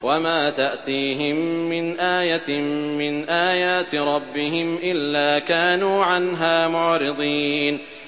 وَمَا تَأْتِيهِم مِّنْ آيَةٍ مِّنْ آيَاتِ رَبِّهِمْ إِلَّا كَانُوا عَنْهَا مُعْرِضِينَ